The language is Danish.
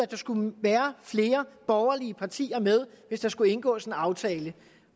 der skulle være flere borgerlige partier med hvis der skulle indgås en aftale